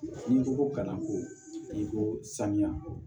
N'i ko ko kana ko i ko saniya